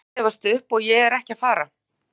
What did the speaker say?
Ég er ekki að gefast upp og ég er ekki að fara.